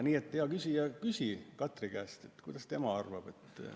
Nii et, hea küsija, küsi Katri käest, mida tema arvab.